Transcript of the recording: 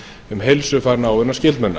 um heilsufar náinna skyldmenna